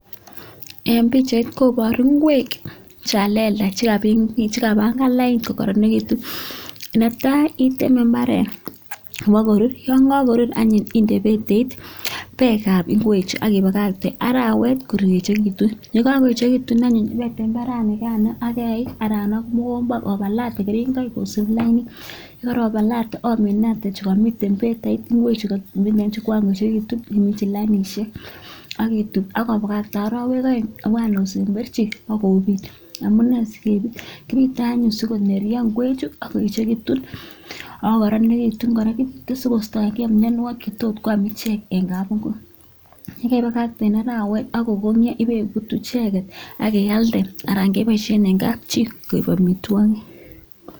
Eng pichait koboru kwek cha lelach che kabanga lain kokororonitu Netai iteme mbaret yobo korur yon ka korur anyun inde beteik beek ab kwechu ak ibalakte arawet korejekitu ye kakoejekitu anyun ibitem imbare ak eik anan mokombo obalate keringoik kosub lain yekarabalote ominate chekomite betait kwechu ko kakoekitu iminji lainishek ak itub ak ibakatkte arawek aeng obwan osemberji ak obut, amu nee si kebut? kebute anyun sikonerjo kwechu ak koechekitu ako karorenitu kora kisukustoi mionwogik chetom kwam ichek eng kabingui ye kaibakakten eng arawet ak kokonyo ibut ichek ak ialde anan keboishe eng kapchi koek amitwogik.